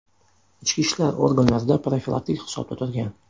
Ichki ishlar organlarida profilaktik hisobda turgan.